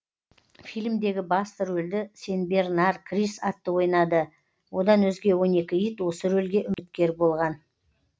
фильмдегі басты рөлді сенбернар крис атты ойнады одан өзге он екі ит осы рөлге үміткер болған